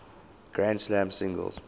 grand slam singles